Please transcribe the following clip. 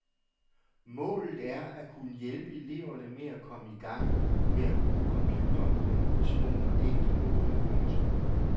Målet er at kunne hjælpe eleverne med at komme i gang med at bruge computeren på en utvungen og enkel måde. punktum